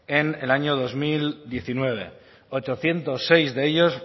en el año dos mil diecinueve ochocientos seis de ellos